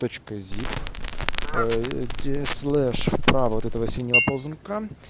точка зип ээ слеш справа этого синего ползунка